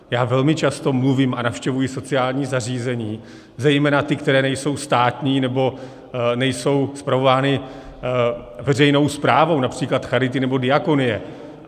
Já velmi často mluvím a navštěvuji sociální zařízení, zejména ta, která nejsou státní nebo nejsou spravována veřejnou správou, například charity nebo diakonie.